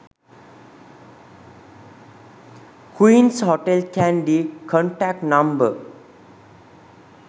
queens hotel kandy contact number